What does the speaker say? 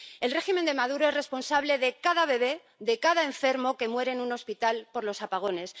El régimen de Maduro es responsable de cada bebé, de cada enfermo que muere en un hospital por los apagones.